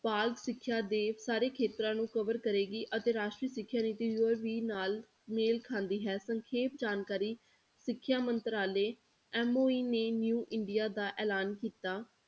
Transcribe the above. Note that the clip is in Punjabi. ਬਾਲ ਸਿੱਖਿਆ ਦੇ ਸਾਰੇ ਖੇਤਰਾਂ ਨੂੰ cover ਕਰੇਗੀ ਅਤੇ ਰਾਸ਼ਟਰੀ ਸਿੱਖਿਆ ਨੀਤੀ ਦੋ ਹਜ਼ਾਰ ਵੀਹ ਨਾਲ ਮੇਲ ਖਾਂਦੀ ਹੈ, ਸੰਖੇਪ ਜਾਣਕਾਰੀ ਸਿੱਖਿਆ ਮੰਤਰਾਲੇ MOE ਨੇ new ਇੰਡੀਆ ਦਾ ਐਲਾਨ ਕੀਤਾ।